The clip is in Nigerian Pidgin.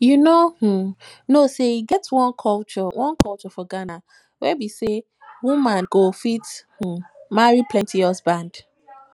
you no um know say e get one culture one culture for ghana wey be say woman um go fit um marry plenty husband